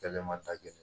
Kɛlɛ ma taa kɛ